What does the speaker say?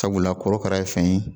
Sabula korokara ye fɛn ye